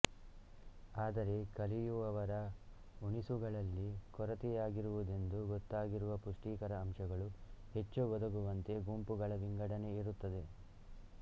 ಆದರೆ ಕಲಿಯುವವರ ಉಣಿಸುಗಳಲ್ಲಿ ಕೊರತೆಯಾಗಿರುವುದೆಂದು ಗೊತ್ತಾಗಿರುವ ಪುಷ್ಟಿಕರ ಆಂಶಗಳು ಹೆಚ್ಚು ಒದಗುವಂತೆ ಗುಂಪುಗಳ ವಿಂಗಡಣೆ ಇರುತ್ತದೆ